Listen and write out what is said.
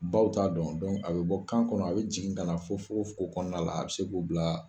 Baw t'a dɔn a bɛ bɔ kan kɔnɔ a bɛ jigin kana na fɔ fugofugo kɔnɔna la a bɛ se k'o bila.